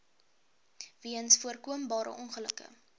weens voorkombare ongelukke